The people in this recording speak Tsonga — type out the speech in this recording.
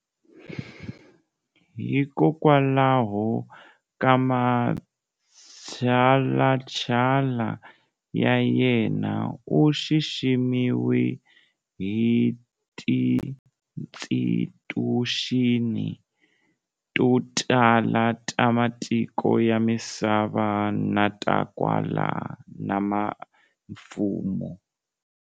Hikokwalaho ka matshalatshala ya yena, u xiximiwe hi tiinstituxini to tala ta matiko ya misava na ta kwala na mimfumo.